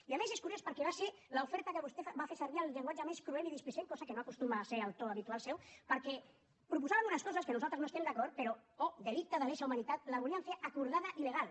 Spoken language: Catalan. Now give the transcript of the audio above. i a més és curiós perquè va ser l’oferta amb què vostè va fer servir el llenguatge més cruel i displicent cosa que no acostuma a ser el to habitual seu perquè proposaven unes coses amb què nosaltres no estem d’acord però oh delicte de lesa humanitat la volien fer acordada i legal